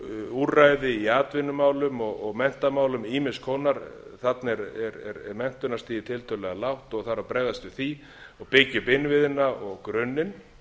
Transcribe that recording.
úrræði í atvinnumálum og menntamálum ýmiss konar þarna er menntunarstigið tiltölulega lágt og þarf að bregðast við því og byggja upp innviðina og grunninn en